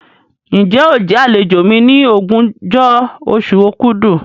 Ǹjẹ́ óò jẹ àlejò mi ní ogúnjọ́ oṣù òkúdu?